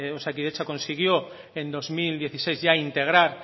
osakidetza consiguió en dos mil dieciséis ya integrar